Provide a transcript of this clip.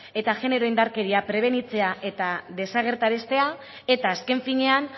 eta genero indarkeria prebenitzea eta desagerraraztea eta azken finean